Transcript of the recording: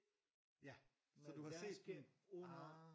Ja så du har set den ah